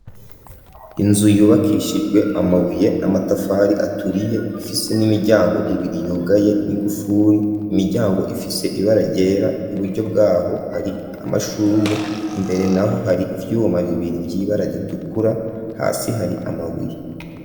Inzu yubakishijwe amabuye n'amatafari aturiye ifise n'imiryango ibiri yugaye n'ingufuri, imiryango ifise ibara ryera, iburyo bwaho hari amashurwe, imbere naho hari ivyuma bibiri y'ibara ritukura, hasi hari amabuye.